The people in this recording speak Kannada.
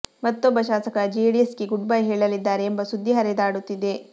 ಮತ್ತೊಬ್ಬ ಶಾಸಕ ಜೆಡಿಎಸ್ಗೆ ಗುಡ್ ಬೈ ಹೇಳಲಿದ್ದಾರೆ ಎಂಬ ಸುದ್ದಿ ಹರಿದಾಡುತ್ತಿದೆ